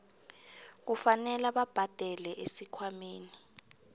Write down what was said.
kufanele babhadele esikhwameni